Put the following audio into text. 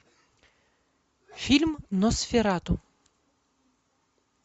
фильм носферату